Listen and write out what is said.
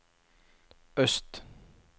øst